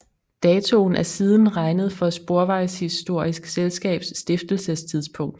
Datoen er siden regnet for Sporvejshistorisk Selskabs stiftelsestidspunkt